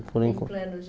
Por en Planos